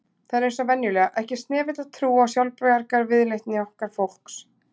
Það er eins og venjulega, ekki snefill af trú á sjálfsbjargarviðleitni okkar fólks